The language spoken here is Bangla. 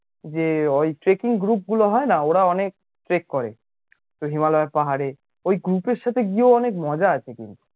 যে ওই trekking group গুলো হয়না ওরা অনেক trek করে হিমালয় এর পাহাড়ে ওই group এর সাথে গিয়েও মজা আছে কিন্তু